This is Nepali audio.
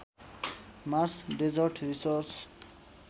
Mars desert research